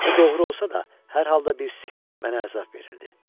Bu doğru olsa da, hər halda bir sirr mənə əzab verirdi.